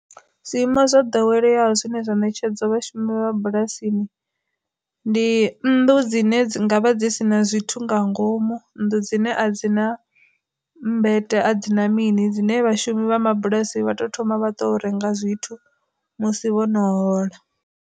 Zwiimo zwa ḓoweleyaho zwine zwa ṋetshedzo vhashumi vha bulasini, ndi nnḓu dzine dzi ngavha dzi sina zwithu nga ngomu nnḓu dzine a dzi na mmbeTE a dzina mini, dzine vhashumi vha mabulasini vha to thoma vha to renga zwithu musi vhono hola.